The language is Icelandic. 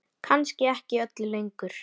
Kannski ekki öllu lengur?